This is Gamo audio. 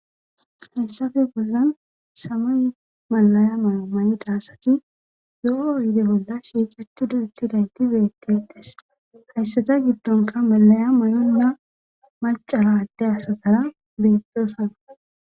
hessafe bollan samay malaya mayo ma7i daasati yo7o yide bolla shiicati duuttidayti beettedhes hayssata giddonka malaya mayonna macara adde asatara beettosana